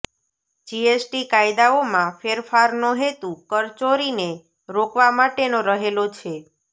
GST કાયદાઓમાં ફેરફારનો હેતુ કરચોરીને રોકવા માટેનો રહેલો છે